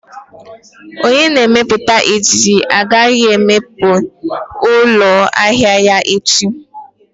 Onye na-emepụta ejiji agaghị emepe ụlọ ahịa ya echi